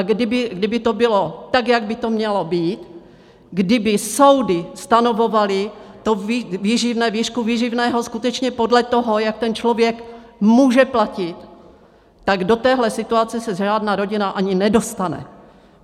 A kdyby to bylo tak, jak by to mělo být, kdyby soudy stanovovaly to výživné, výšku výživného skutečně podle toho, jak ten člověk může platit, tak do téhle situace se žádná rodina ani nedostane.